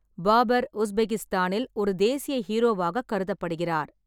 பாபர் உஸ்பெகிஸ்தானில் ஒரு தேசிய ஹீரோவாக கருதப்படுகிறார்.